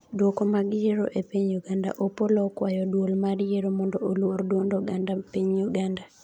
duoko mag yiero e piny Uganda:Opollo okwayo duol mar yiero mondo oluor duond oganda piny Uganda